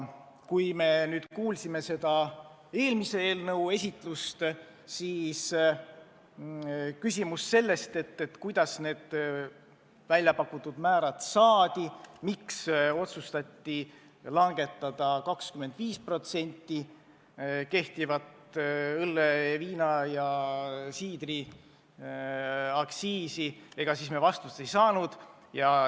Kui me kuulasime eelmise eelnõu esitlust, siis küsimus, kuidas need väljapakutud määrad saadi, miks otsustati langetada 25% nii õlle-, viina- kui ka siidriaktsiisi, siis me vastust ei saanud.